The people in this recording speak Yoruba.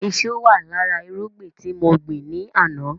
Iṣu wà lára irúgbìn tí mo gbin ni àná